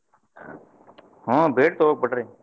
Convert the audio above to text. ಹಾ ಬೇಡ್ ತೊಗೋಬೇಕ್ ಬಿಡ್ರಿ.